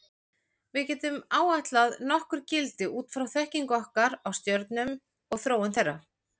Við getum áætlað nokkur gildi út frá þekkingu okkar á stjörnum og þróun þeirra.